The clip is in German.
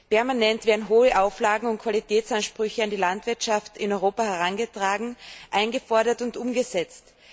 Permanent werden hohe Auflagen und Qualitätsansprüche an die Landwirtschaft in Europa herangetragen, eingefordert und umgesetzt.